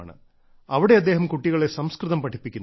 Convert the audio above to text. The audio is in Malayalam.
അവിടെ അദ്ദേഹം കുട്ടികളെ സംസ്കൃതം പഠിപ്പിക്കുന്നു